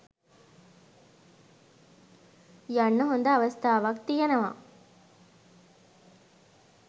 යන්න හොඳ අවස්ථාවක් තියෙනව